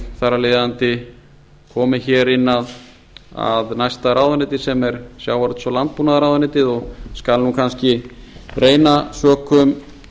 þar af leiðandi kominn inn að næsta ráðuneyti sem er sjávarútvegs og landbúnaðarráðuneytið og skal nú kannski reyna sökum